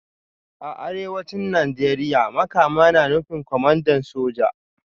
A Arewacin Najeriya Makama na nufin Kwamandan Soja